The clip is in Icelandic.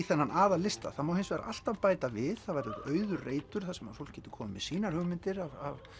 þennan aðallista það má hins vegar alltaf bæta við það verður auður reitur fólk getur komið með sínar hugmyndir að